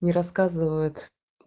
не рассказывают